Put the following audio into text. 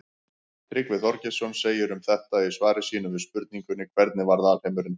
Tryggvi Þorgeirsson segir um þetta í svari sínu við spurningunni Hvernig varð alheimurinn til?